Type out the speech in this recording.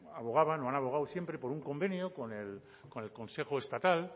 abogaban o han abogado siempre por un convenio con el consejo estatal